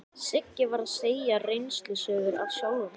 Siggi var að segja reynslusögur af sjálfum sér.